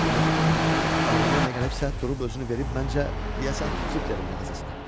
Yox, mən ağlına nə gəlibsə durub özünü verib məncə, deyəsən, triplerin mağazasına.